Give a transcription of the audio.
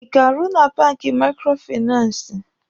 Ị ga-arụ na banki maikrofinansi?